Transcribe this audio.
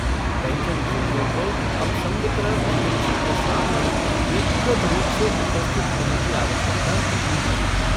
पेंशनभोगियों को अब संवितरण एजेंसी के सामने व्यक्तिगत रूप से उपस्थित होने की आवश्यकता नहीं है।